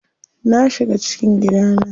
Na shiga cikin gidana.